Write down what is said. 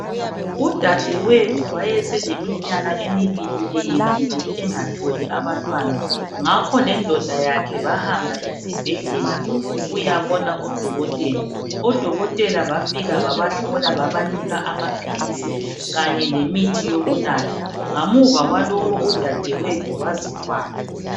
Udadewethu wayeseleminyaka emibili eyendile engatholi abantwana ngakho lendoda yakhe bahamba esibhedlela ukuyabona odokotela. Odokotela bafika babahlola babanika amaphilisi kanye lemithi yokunatha. Ngamuva kwalokho udadewethu wazithwala.